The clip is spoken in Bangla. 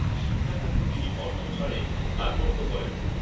শিক্ষাখাতে তিনি অর্থ ছাড়ে কার্পণ্য করেন না